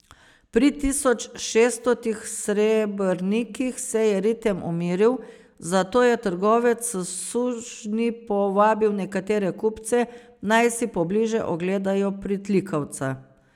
Pri tisoč šeststotih srebrnikih se je ritem umiril, zato je trgovec s sužnji povabil nekatere kupce, naj si pobliže ogledajo pritlikavca.